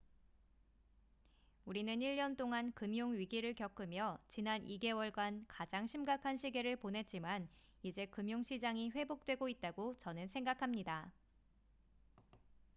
우리는 1년 동안 금융 위기를 겪으며 지난 2개월간 가장 심각한 시기를 보냈지만 이제 금융 시장이 회복되고 있다고 저는 생각합니다